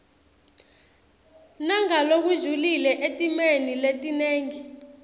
nangalokujulile etimeni letinengi